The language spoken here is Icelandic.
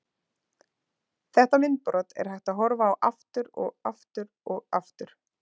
Þetta myndbrot er hægt að horfa á aftur og aftur og aftur.